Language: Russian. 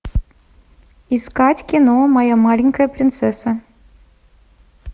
искать кино моя маленькая принцесса